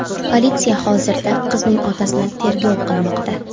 Politsiya hozirda qizning otasini tergov qilmoqda.